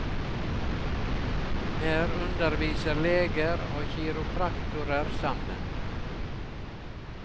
Her underviser leger og kiropraktorer sammen.